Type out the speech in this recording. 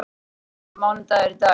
Lily, hvaða mánaðardagur er í dag?